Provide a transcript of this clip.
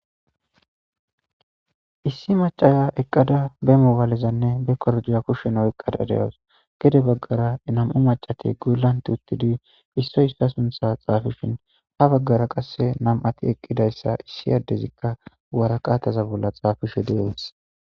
issi macaya eqqada bemobalezanne be koroduya kushsheno eqqada de7as gede baggara inam7u macate guulanti uttidi issoy hissa suntha xaafishin ha baggara qasse nam7ati eqqidayssa issi yaddezikka waraqataza bolla xaafishe deees